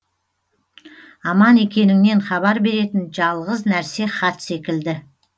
аман екеніңнен хабар беретін жалғыз нәрсе хат секілді